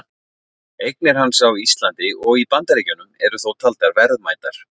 Eignir hans á Íslandi og í Bandaríkjunum eru þó taldar verðmætar.